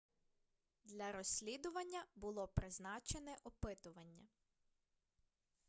для розслідування було призначене опитування